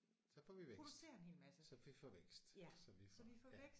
Så får vi vækst. Så vi får vækst så vi får ja